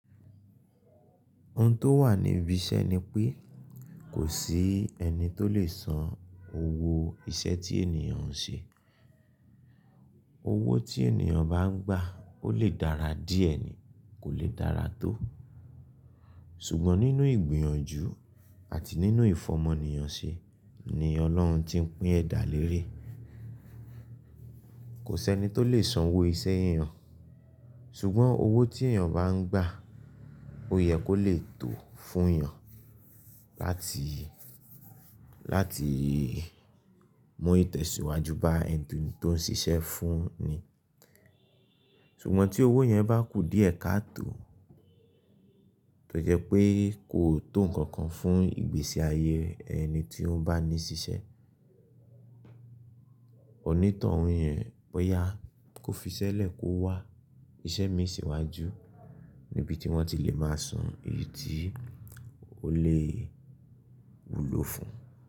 Ohun tó wà níbi iṣẹ́ ni pé kò sí ẹni tó lè san owó iṣẹ́ tí ènìyàn ń ṣe. Owó tí ènìyàn bá ń gbà ó lè dára díẹ̀ ni kò lè dára tó. Ṣùgbọ́n nínú ìgbìyànjú àti nínú ìfọ̀mọ níyànṣẹ ni Ọlọ́run ti ń pín ẹ̀dá lérè. Kò sí ẹni tó lè san owó iṣẹ́ ènìyàn ṣùgbọ́n owó tí ènìyàn bá ń gbà ó yẹ kó lè tó fún ènìyàn láti, láti mú ìtẹ̀síwájú bá ẹni tó ń ṣiṣẹ́ fún ni. Ṣùgbọ́n tí owó yẹn bá kù díẹ̀ kaá tó tó jẹ́ pé kò tó nǹkankan fún ìgbésí ayé ẹni tí ó bá ní ṣiṣẹ́, onítọ̀hún yẹn bóyá kó fiṣẹ́ lẹ̀ kó wá iṣẹ́ mi sìwájú níbi tí wọ́n ti lè máa san èyí tí ó lè wúlò fún un.